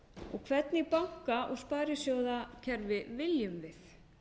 og hvernig banka og sparisjóðakerfi viljum við